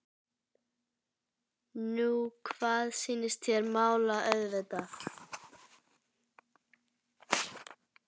Nú hvað sýnist þér. mála auðvitað!